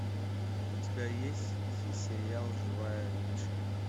у тебя есть сериал живая мишень